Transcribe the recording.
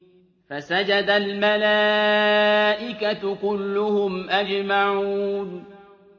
فَسَجَدَ الْمَلَائِكَةُ كُلُّهُمْ أَجْمَعُونَ